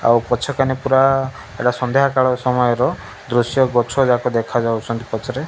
ଆଉ ପଛ କନେ ପୁରା ସନ୍ଧିଆ କଳା ସମୟ ର ଦୃଶ୍ୟ ଗଛ ଯାକ ଦେଖା ଯାଉଛନ୍ତି ପଛରେ।